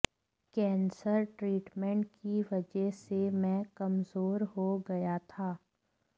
cancer treatment की वजह से मैं कमजोर हो गया था